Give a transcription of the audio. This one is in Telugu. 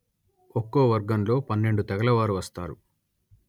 ఒక్కో వర్గంలో పన్నెండు తెగలవారు వస్తారు